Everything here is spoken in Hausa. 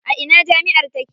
A ina jami'ar take?